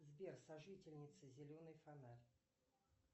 сбер сожительница зеленый фонарь